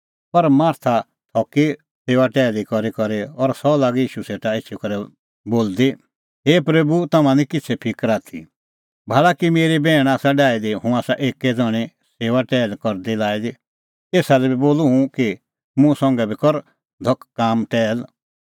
पर मार्था थकी सेऊआ टैहली करीकरी और सह लागी ईशू सेटा एछी करै बोलदी हे प्रभू तम्हां निं किछ़ै फिकर आथी भाल़ी कि मेरी बैहणी आसा डाही दी हुंह एक्कै ज़ण्हीं सेऊआ टैहली करदी लाई एसा लै बी बोल हैनूं कि मुंह संघै बी कर धख काम टैहल